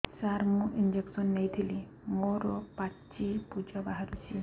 ସାର ମୁଁ ଇଂଜେକସନ ନେଇଥିଲି ମୋରୋ ପାଚି ପୂଜ ବାହାରୁଚି